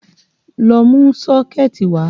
Lọ mú kọ́ṣẹ̀ẹ̀tì wá!